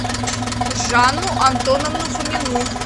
жанну антоновну фомину